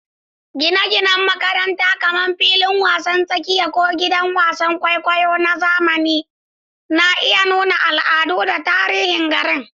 Gine-ginen makaranta, kamar filin wasan tsakiya ko gidan wasan kwaikwayo na zamani, na iya nuna al'adu da tarihin garin.